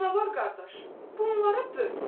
Canavar qardaş, bunları böl!